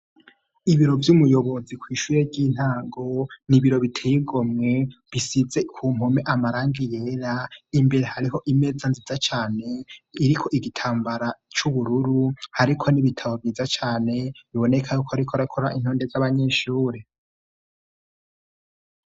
ibiro vy'umuyobozi kw'ishure ry'intango nibiro biteye igomwe bisize ku mpome amarangi yera imbere hariho imeza nziza cane iriko igitambara c'ubururu ariko nibitabo vyiza cane biboneka ko ariko arakora urutonde z'abanyeshure